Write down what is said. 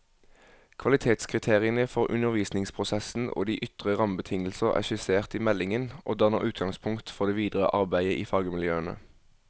Kvalitetskriteriene for undervisningsprosessen og de ytre rammebetingelser er skissert i meldingen, og danner utgangspunkt for det videre arbeidet i fagmiljøene.